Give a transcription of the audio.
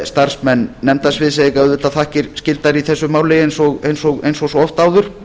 starfsmenn nefndasviðs eiga auðvitað þakkir skildar í þessu máli eins og svo oft áður